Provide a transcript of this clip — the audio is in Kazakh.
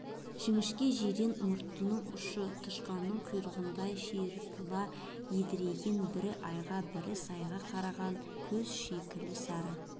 жіңішке жирен мұртының ұшы тышқанның құйрығындай ширатыла едірейген бір айға бір сайға қараған көз шикілі сары